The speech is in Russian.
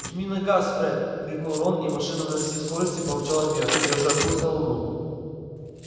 жми на газ фред крикнул рон и машина на всей скорости помчала вверх держа курс на луну